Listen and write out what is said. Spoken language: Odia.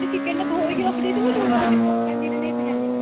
chicken ଧୋଇକି ରଖି ଦେଇଥିବୁ ଲୁଣ ହଳଦୀ ପକାନ୍ତି କି ନାହିଁ ତୁ ଜାଣିନୁ